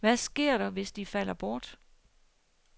Hvad sker der, hvis de falder bort?